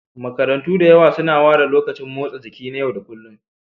Makarantu da yawa suna ware lokacin motsa jiki na yau da kullun.